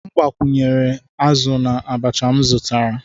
M gbakwunyere azụ na abacha m zụtara.